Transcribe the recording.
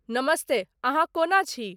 नमस्ते अहाँ कओना छि ?